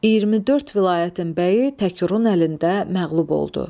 24 vilayətin bəyi Təkurun əlində məğlub oldu.